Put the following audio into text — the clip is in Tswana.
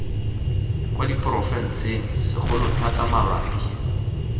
kwa diporofenseng segolo thata mabapi